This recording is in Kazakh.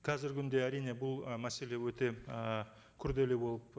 қазіргі күнде әрине бұл ы мәселе өте ы күрделі болып